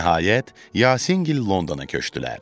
Nəhayət, Yasingil Londona köçdülər.